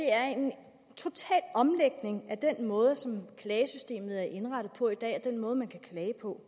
er en total omlægning af den måde som klagesystemet er indrettet på i dag og af den måde man kan klage på